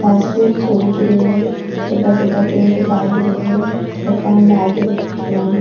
घास फुस उग रहे है बड़ा बड़ा पेड़ लाग रहे है मकान लाग रहे है पुरानो।